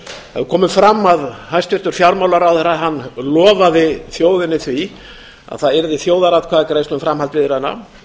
það hefur komið fram að hæstvirtur fjármálaráðherra lofaði þjóðinni því að það yrði þjóðaratkvæðagreiðsla um framhald viðræðna